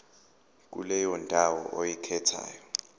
kuleyo ndawo oyikhethayo